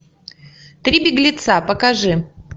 три беглеца покажи